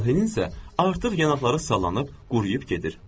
Amalhenin isə artıq yanaqları sallanıb, quruyub.